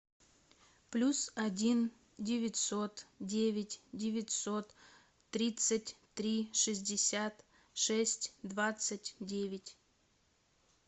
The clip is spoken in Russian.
плюс один девятьсот девять девятьсот тридцать три шестьдесят шесть двадцать девять